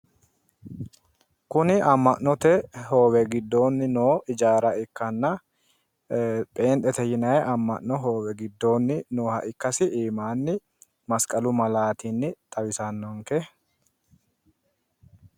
Kuni amma'note hoowe giddoonni no ijaara ikkanna pheenxete yinanni amma'no hoowe giddoonni nooha ikkasi iimanni masiqalu malaatinni xawissannonke.